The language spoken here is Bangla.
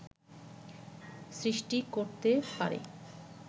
সৃষ্টি করতে পারে